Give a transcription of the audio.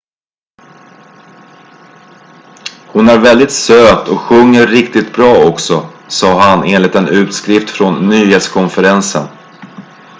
"""hon är väldigt söt och sjunger riktigt bra också" sa han enligt en utskrift från nyhetskonferensen.